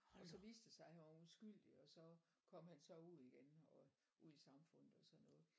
Og så viste det sig at han var udskyldig og så kom han så ud igen og ud i samfundet og sådan noget